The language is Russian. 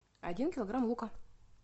один килограмм лука